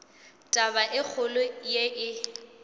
taba e kgolo ye e